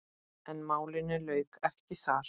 En málinu lauk ekki þar.